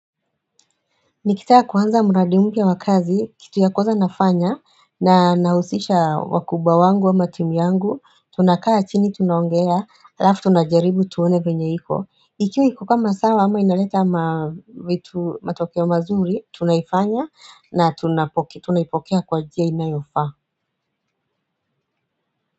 Nikitaka kuanza mradi mpya wakazi, kitu ya kwanza nafanya, na nausisha wakubwa wangu ama timu yangu, tunakaa chini tunaongea, alafu tunajaribu tuone venyeiko. Ikiwa hiko kama sawa ama inaleta ma vitu matokeo mazuri, tunaifanya na tunaipokea kwa jia inayofaa.